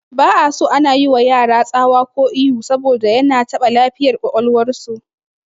Ba'aso ana yiwa yara tsawa ko ihu saboda yana taɓa lafiyar ƙwaƙwalwar su